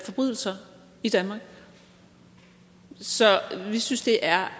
forbrydelser i danmark så vi synes det er